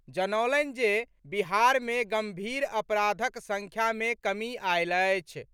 जनौलनि जे बिहार मे गंभीर अपराधक संख्या मे कमी आएल अछि।